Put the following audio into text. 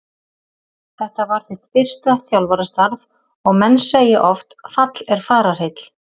Þetta var þitt fyrsta þjálfarastarf og menn segja oft fall er fararheill?